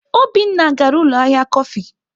Obinna gara ụlọ ahịa kọfị.